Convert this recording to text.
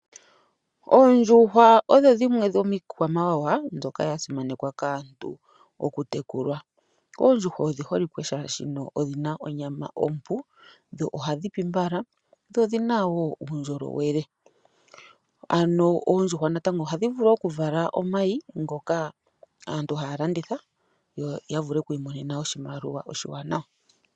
Oondjuhwa odho dhimwe dhomiikwamawawa mbyoka yasimanekwa kaantu okutekulwa. Oondjuhwa odhi holike shaashi odhina onyama ompu, dho ohadhi pi mbala , dho odhina woo uundjolowele. Oondjuhwa ohadhi vulu okuvala Omayi, ngoka haga landithwa, yo yavule okumona oshimaliwa oshiwanawa.